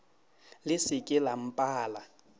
le se ke la mpala